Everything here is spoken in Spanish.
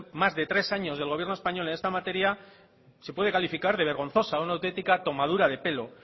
más de tres años del gobierno español en esta materia se puede calificar de vergonzosa una autentica tomadura de pelo